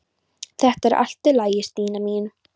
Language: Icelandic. Þetta er allt í lagi, Stína mín.